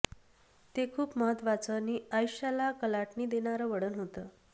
ते खूप महत्त्वाचं नि आयुष्याला कलाटणी देणारं वळण होतं